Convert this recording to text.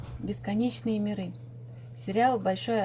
бесконечные миры сериал большое